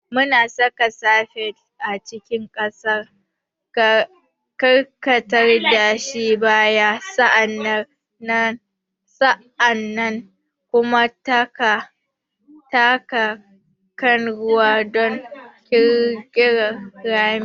Muna saka spade a cikin ƙasa, karkatar da shi baya, sa'an nan kuma taka kan ruwa don ƙirƙirar rami.